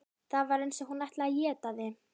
Það var eins og hún ætlaði að éta þig.